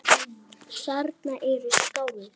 Þarna eru skáld.